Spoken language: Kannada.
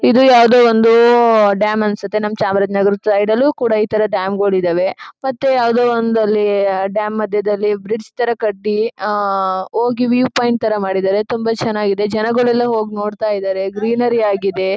ಇದು ಯಾವುದೊ ಒಂದು ಡ್ಯಾಮ್ ಅನ್ಸುತ್ತೆ. ನಮ್ಮ್ ಚಾಮರಾಜನಗರ ಸೈಡ್ ಲ್ಲೂ ಕೂಡ ಈ ತರ ಡ್ಯಾಮ್ ಗಳಿದ್ದಾವೆ . ಮತ್ತೆ ಯಾವುದೊ ಒಂದು ಅಲ್ಲಿ ಡ್ಯಾಮ್ ಮಧ್ಯದಲ್ಲಿ ಬ್ರಿಜ್ ತರ ಕಟ್ಟಿ ಆ ಹೋಗಿ ವ್ಯೂ ಪಾಯಿಂಟ್ ತರ ಮಾಡಿದ್ದಾರೆ ತುಂಬಾ ಚೆನ್ನಾಗಿದೆ ಜನಗಳೆಲ್ಲ ಹೋಗಿ ನೋಡ್ತಾ ಇದ್ದಾರೆ ಗ್ರೀನರಿ ಆಗಿದೆ.